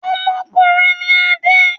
Ọmọkùnrin ni Adé.